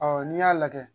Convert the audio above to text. Ɔ n'i y'a lajɛ